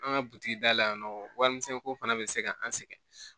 An ka butigi da la yan nɔ warimisɛn ko fana bɛ se ka an sɛgɛn